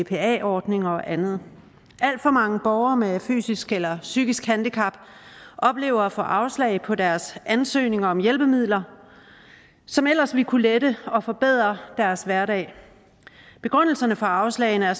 bpa ordninger og andet alt for mange borgere med fysisk eller psykisk handicap oplever at få afslag på deres ansøgninger om hjælpemidler som ellers ville kunne lette og forbedre deres hverdag begrundelsen for afslagene er